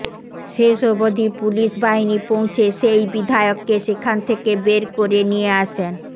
শেষ অবধি পুলিশ বাহিনী পৌঁছে সেই বিধায়ককে সেখান থেকে বেড় করে নিয়ে আসেন